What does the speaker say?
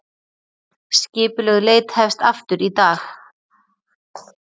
Skipulögð leit hefst aftur í dag